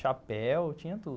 Chapéu, tinha tudo.